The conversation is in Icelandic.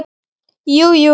Jú jú.